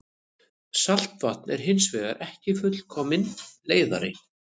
Saltvatn er hins vegar ekki fullkominn leiðari.